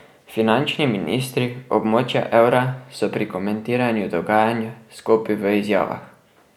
Finančni ministri območja evra so pri komentiranju dogajanja skopi v izjavah.